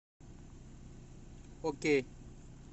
окей